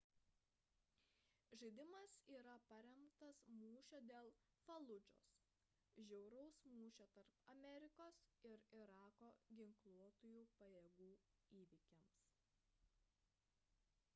žaidimas yra paremtas mūšio dėl faludžos žiauraus mūšio tarp amerikos ir irako ginkluotųjų pajėgų įvykiais